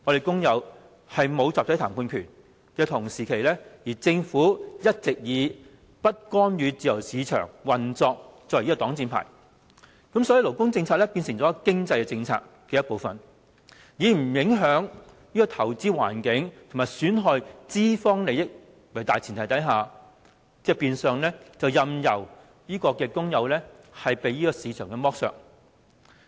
工人沒有集體談判權，而政府則一直以不干預自由市場運作為擋箭牌，以致勞工政策成為經濟政策的一部分，以不影響投資環境和不損害資方利益為大前提，變相任由工人被市場剝削。